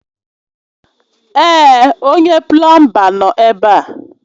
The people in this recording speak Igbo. Èè, onye plọọmba nọ ebe a